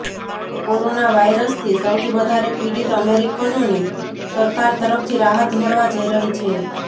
corona વાયરસથી સૌથી વધારે પીડિત અમેરિકનોને સરકાર તરફથી રાહત મળવા જઈ રહી છે